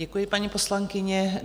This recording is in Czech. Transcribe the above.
Děkuji, paní poslankyně.